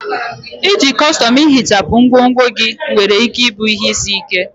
Iji kọstọm ihichapụ ngwongwo gị nwere ike ịbụ ihe isi ike.